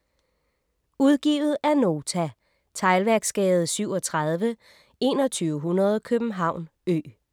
Udgivet af Nota Teglværksgade 37 2100 København Ø